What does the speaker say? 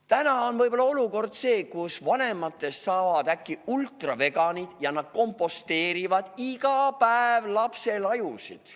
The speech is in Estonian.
Täna on võib-olla selline olukord, et vanematest saavad äkki ultraveganid ja nad komposteerivad iga päev lapsel ajusid.